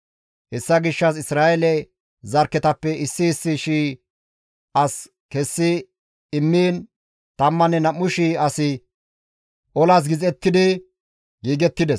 Hessa gishshas Isra7eele zarkketappe issi issi shii as kessi immiin 12,000 asi olas gixettidi giigettides.